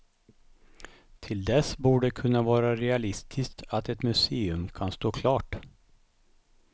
Till dess borde det kunna vara realistiskt att ett museum kan stå klart.